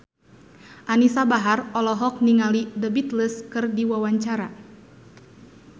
Anisa Bahar olohok ningali The Beatles keur diwawancara